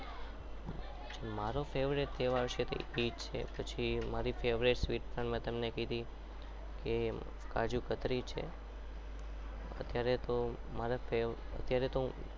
મારો favourite તહેવાર છે એ જ છે પછી મારી favourite મીઠાઈ માં મેં તમને કીધી કે કાજુકતરી છે અત્યારે તો મારા અત્યારે તો હું